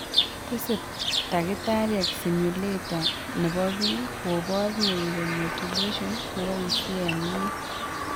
Tese takitariek stimulator nepo pii kopor neuromodulation nepoisie en inye.